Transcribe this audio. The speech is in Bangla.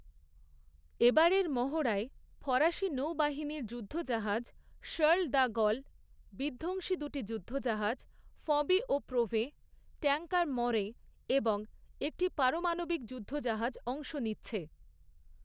এবারের মহড়ায় ফরাসী নৌ বাহিনীর যুদ্ধ জাহাজ শার্ল দ্য গল, বিধ্বংসী দুটি যুদ্ধজাহাজ ফঁবি ও প্রোভেঁ, ট্যাঙ্কার ম্যঁরে এবং একটি পারমাণবিক যুদ্ধজাহাজ অংশ নিচ্ছে।